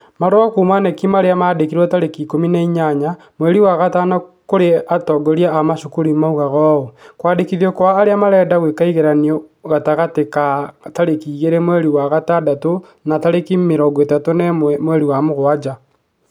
Marũa kuuma Knec arĩa maandĩkĩrwo tarĩki ĩkũmi na inyanya, mweri wa gatano kũrĩ atongoria a macukuru yoigaga ũũ, kwandĩkithio kwa arĩa marenda gwĩka ĩgeranio gwĩkwo gatagatĩ ka tarĩki igĩrĩ mweri wa gatandatũ na tarĩki mĩrongo ĩthatu na ĩmwe mweri wa mũgwanja.